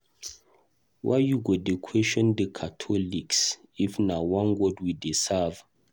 Why you go dey question the catholics if na one God we dey serve?